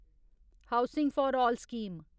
housing for all scheme